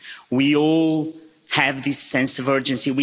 We all have this sense of urgency.